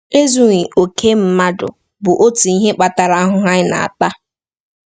Ezughị okè mmadụ bụ otu ihe kpatara ahụhụ anyị na-ata.